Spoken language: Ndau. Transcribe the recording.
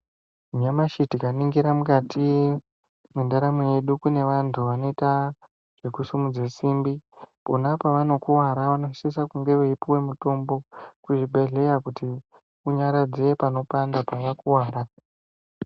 Nyamashi tikaningira mukati mwendaramo yedu kune vantu vanoita zvekusimudze simbi. Pona pavanokuvara vanosisa kunge veipuva mutombo kuzvibhedhleya kuti unyaradze panopanda pakakuvara.